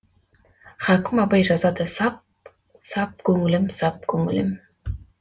хакім абай жазады сап сап көңілім сап көңілім